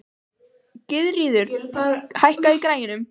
Gyðríður, hækkaðu í græjunum.